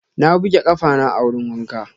Na buge ƙafana a wurin wanka.